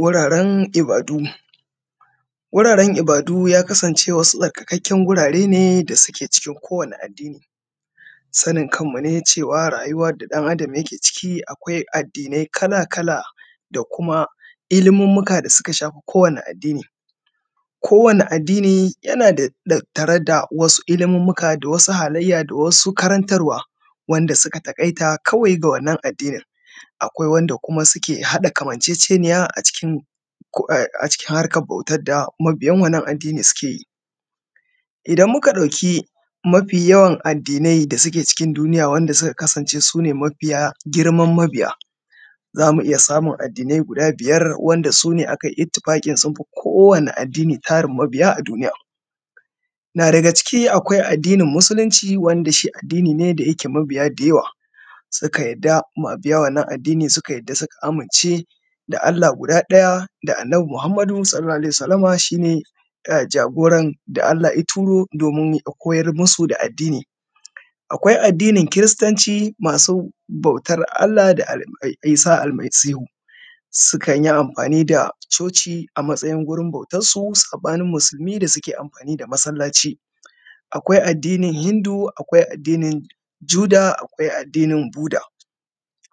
wuraren ibadu wararen ibadu wasu tsarkakakken gurare ne da suke cikin ko wani addini sanin kanmu ne cewa rayuwa da dan adam ke ciki akwai addinai kala kala da kuma ilmumuka da suka shafi ko wani adini ko wani addini yana tattare da wasu ilmumuka da wasu halayya da wasu karantarwa wanda suka takai ta kawai ga wannan addini akwai kuma wayanda suke hada kamanceceniya a cikin harkan bautan da mabiyan wannan addini sukeyi idan muka dauki mafi yawan addinai da suke cikin duniya wanda suka kasance sune mafiya girman mabiya zamu iyya samun addinai biyar wanda sune mafiya girma tarin mabiya a duniya na daga ciki akwai addinin musulsunci wanda shi addini ne da yake mabiya da yawa mabiya wannan addini suka yadda kuma suka amince da Allah guda daya da annabi muhammadu (s a w) shine jagoran da Allah ya turo domin ya koyar musu da addini akwai addinin kiristanci masu bautan Allah da isah almasihu sukanyi amfani da coci a matsayin gurin bautan su sabanin da suke amfani da masallaci akwai addinin hindu akwai addinin juda akwai addinin buda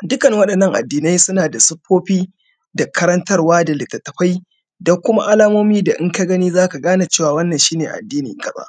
dukkanin wadannan addinai suna da sufofi da karantarwa da litattafai da kuma alamomi da daka gani zaka gane cewa wannan shine addini kaza